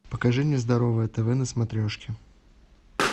покажи мне здоровое тв на смотрешке